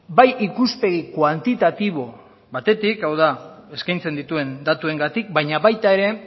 bai ikuspegi kuantitatibo batetik hau da eskaintzen dituen datuengatik baina baita ere